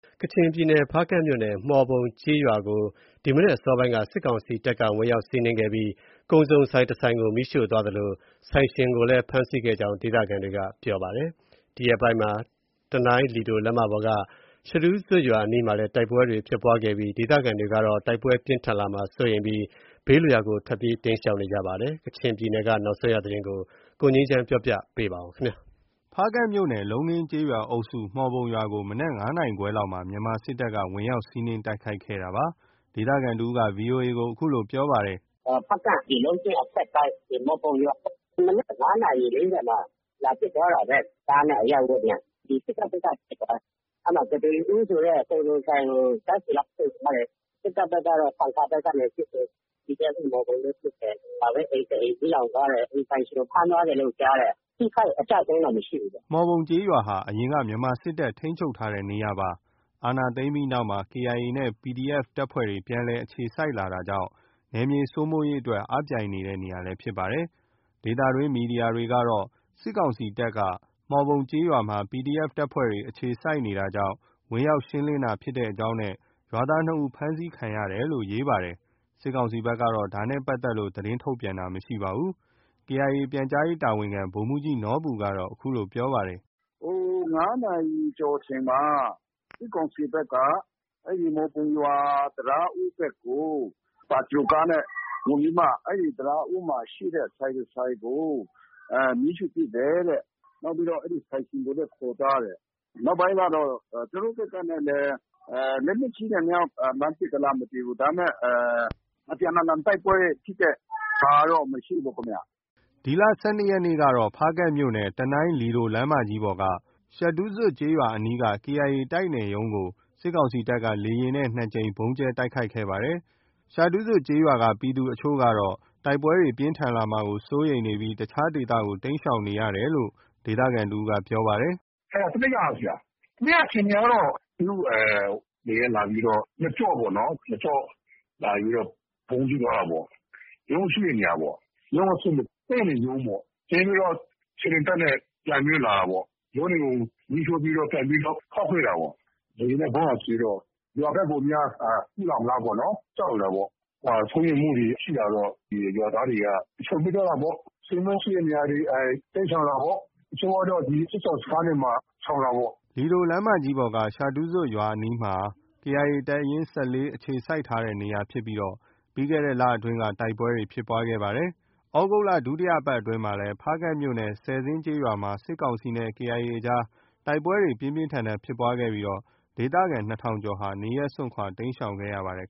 ကချင်ပြည်နယ် ဖားကန့်မြို့နယ်က မှော်ပုံကျေးရွာကို ဒီမနက်အစောပိုင်းက စစ်ကောင်စီတပ်က ဝင်ရောက်စီးနင်းခဲ့ပြီး ကုန်စုံဆိုင်တစ်ဆိုင်ကို မီးရှို့သွားသလို ဆိုင်ရှင်ကိုလည်း ဖမ်းဆီးခဲ့ကြောင်း ဒေသခံတွေက ပြောပါတယ်။ ဒီရက်ပိုင်းမှာ တနိုင်းလီဒိုလမ်းမပေါ်က ရှဒူးဇွပ်ရွာအနီးမှာလည်း တိုက်ပွဲတွေ ဖြစ်ပွားခဲ့ပြီး ဒေသခံတွေကတော့ တိုက်ပွဲတွေပြင်းထန်လာမှာ စိုးရိမ်ပြီး ဘေးလွတ်ရာကို ထွက်ပြေးတိမ်းရှောင်နေကြပါတယ်။ ကချင်ပြည်နယ်က နောက်ဆုံးရ သတင်းကို ကိုငြိမ်းချမ်းက ပြောပြပါမယ်။ ဖားကန့်မြို့နယ် လုံးခင်းကျေးရွာအုပ်စု မှော်ပုံရွာကို မနက် ၅ နာရီခွဲလောက်မှာ မြန်မာစစ်တပ်က ဝင်ရောက်စီးနင်းတိုက်ခိုက်ခဲ့တာပါ။ ဒေသခံတစ်ဦး VOA ကို အခုလို ပြောပါတယ်။ “ဖားကန့် ဒီ လုံးခင်းအထက်ပိုင်း မှော်ပုံရွာပေါ့။ မနက် ၅ နာရီ ၄၀ မှာ လာပစ်သွားတာပဲ။ ကားနဲ့ အရပ်ဝတ်နဲ့။ စစ်တပ်ဘက်က ပစ်သွားတာ။ အဲဒီ ကုဋေဦးဆိုတဲ့ ကုန်စုံဆိုင်ကို ဓါတ်ဆီလောင်း ရှို့သွားတယ်။ စစ်တပ်ဘက်ကတော့ ဆန်ခါဘက်ကနေ ပစ်တယ်။ PDF မှော်ပုံလည်း ပစ်တယ်။ အိမ်တစ်အိမ် မီးလောင်သွားတယ်။ အိမ်ပိုင်ရှင်ကို ဖမ်းသွားတယ်လို့ ကြားတယ်။ အထိအခိုက် အကျအဆုံးတော့ မရှိဘူးဗျ။” မှော်ပုံကျေးရွာဟာ အရင်က မြန်မာစစ်တပ် ထိန်းချုပ်ထားတဲ့နေရာဖြစ်ပါတယ်။ အာဏာသိမ်းပြီးနောက်မှာ KIA နဲ့ PDF တပ်ဖွဲ့တွေ ပြန်လည် အခြေစိုက်လာတာကြောင့် နယ်မြေစိုးမိုးရေးအတွက် အားပြိုင်နေတဲ့ နေရာလည်း ဖြစ်ပါတယ်။ ဒေသတွင်းသတင်းမီဒီယာတွေကတော့ စစ်ကောင်စီတပ်က မှော်ပုံကျေးရွာမှာ PDF တပ်ဖွဲ့တွေ အခြေစိုက်နေတာကြောင့် ဝင်ရောက်ရှင်းလင်းတာဖြစ်ကြောင်းနဲ့ ရွာသား ၂ ဦး ဖမ်းဆီးခံရတယ်လို့ ရေးပါတယ်။ စစ်ကောင်စီဘက်က ဒါနဲ့ ပတ်သက်လို့ သတင်းထုတ်ပြန်တာ မရှိပါဘူး။ KIA ပြန်ကြားရေးတာဝန်ခံ ဗိုလ်မှူးကြီးနော်ဘူကတော့ အခုလို ပြောဆိုပါတယ်။ “ ၅ နာရီကျော်အချိန်မှာ စစ်ကောင်စီဘက်က အဲဒီမှော်ပုံရွာ တံတားဦးဘက်ကို ပါဂျရိုးကားနဲ့ ဝင်ပြီးမှ အဲဒီ တံတားဦးမှာ ရှိတဲ့ ဆိုင်တစ်ဆိုင်ကို မီးရှို့ပစ်တယ်တဲ့။ နောက်ပြီးတော့ အဲဒီ ဆိုင်ရှင်ကိုလည်း ခေါ်သွားတယ်။ နောက်ပြီးတော့ သူတို့ဘက်ကနေလည်း လက်နက်ကြီးနဲ့များ လှမ်းပစ်သလား မသိဘူး။ ဒါပေမဲ့ အပြန်အလှန် တိုက်ပွဲဖြစ်တဲ့ဟာကတော့ မရှိဘူးခင်ဗျ။” ဒီလ ၁၂ ရက်နေ့ကတော့ ဖားကန့်မြို့နယ် တနိုင်း-လီဒိုလမ်းမပေါ်က ရှဒူးဇွပ်ကျေးရွာအနီးက KIA တိုက်နယ်ရုံးကို စစ်ကောင်စီတပ်က လေယာဉ်နဲ့ ၂ ကြိမ် ဗုံးကြဲတိုက်ခိုက်ခဲ့ပါတယ်။ ရှဒူးဇွပ်ကျေးရွာက ပြည်သူအချို့ကတော့ တိုက်ပွဲတွေ ပြင်းထန်ဖြစ်လာမှာကို စိုးရိမ်ပြီး အခြားဒေသတွေကို တိမ်းရှောင်နေရတယ်လို့ ဒေသခံတစ်ဦးက ပြောပါတယ်။ “အဲဒါ တစ်နေ့က ဆရာ။ တစ်နေ့က အခြေအနေကတော့ သူတို့ လေယာဉ်နဲ့လာပြီးတော့ နှစ်ကျော့ပေါ့နော်။ နှစ်ကျော့ လာပြီး ဗုံးကြဲသွားတာပေါ့။ ရုံးရှိတဲ့နေရာပေါ့။ ရုံးအဆင့် တိုက်နယ်ရုံးပေါ့။ ကြဲပြီးတော့ ခြေလျင်တပ်နဲ့ ပြန်ပြီးတော့ လာတာပေါ့။ ရုံးတွေကို မီးရှိုပြီးတော့ ပြန်ပြီးတော့ ခေါက်ခဲ့တာပေါ့။ လေယာဉ်နဲ့ ဗုံးလာကြဲတော့ ရွာဘက်ကိုများ ပစ်လာမလားပေါ့။ ကြောက်နေတာပေါ့။ စိုးရိမ်မှုတွေ ရှိလာတော့ ရွာသားတွေက ရှောင်ပြေးသွားတာပေါ့။ ဆွေမျိုးရှိတဲ့နေရာတွေ တိမ်းရှောင်တာပေါ့။ တချို့ကတော့ စစ်ရှောင်စခန်းတွေမှာ ရှောင်တာပေါ့။” လီဒိုလမ်းမကြီးပေါ်က ရှဒူးဇွပ်ရွာအနီးမှာ KIA တပ်ရင်း ၁၄ အခြေစိုက်ထားတဲ့နေရာဖြစ်ပြီး ပြီးခဲ့တဲ့လအတွင်းက တိုက်ပွဲတွေ ဖြစ်ပွားခဲ့ပါတယ်။ သြဂုတ်လ ဒုတိယပတ်အတွင်းမှာ လည်း ဖားကန့်မြို့နယ် ဆယ်ဇင်းကျေးရွာမှာ စစ်ကောင်စီနဲ့ KIA အကြား တိုက်ပွဲတွေ ပြင်းပြင်းထန်ထန်ဖြစ်ပွားခဲ့ပြီး ဒေသခံ ၂,၀၀၀ ကျော်ဟာ နေရပ်စွန့်ခွာ တိမ်းရှောင်ခဲ့ရပါတယ်